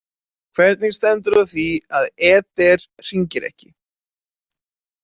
Hvernig stendur á því að Eder hringir ekki?